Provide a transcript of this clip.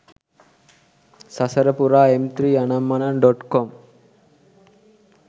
sasara pura mp3 ananmanan.com